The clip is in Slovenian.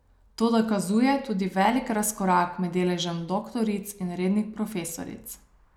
To dokazuje tudi velik razkorak med deležem doktoric in rednih profesoric.